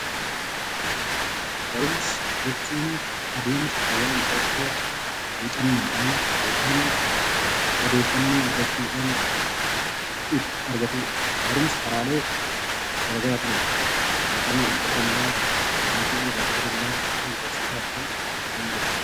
Barumsa jechuun adeemsa waan tokko muuxannoodhaan yookiin immoo karaa addaa addaa argatuudha. Barumsa karaalee garaa garaatiin muuxannoodhaan ta'uu danda'aa, maatii irraa ta'uu danda'aa, akkasumas barsiisaa irraa ta'uu danda'a.